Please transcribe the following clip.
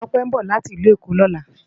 Tope nbò láti Ilù Ekó lòlá